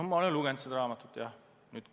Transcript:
Ma olen seda raamatut lugenud jah.